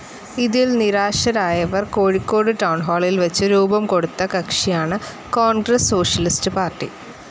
ഇതിൽ നിരാശരായവർ കോഴിക്കോട് ടൌൺഹാളിൽ വച്ച് രൂപം കൊടുത്ത കക്ഷിയാണ് കോൺഗ്രസ്‌ സോഷ്യലിസ്റ്റ്‌ പാർട്ടി.